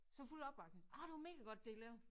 Så fuld opbakning ah det var mega godt det I lavede